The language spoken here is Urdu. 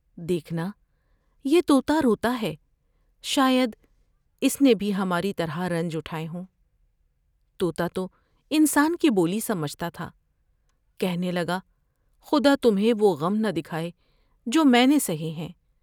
دیکھنا یہ تو تاروتا ہے شاید اس نے بھی ہماری طرح رنج اٹھائے ہوں '' تو تا تو انسان کی بولی سمجھتا تھا ، کہنے لگا خدا تمھیں وہ غم نہ دکھاۓ جو میں نے سہے ہیں ۔